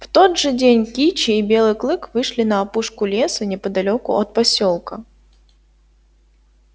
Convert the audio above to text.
в тот же день кичи и белый клык вышли на опушку леса неподалёку от посёлка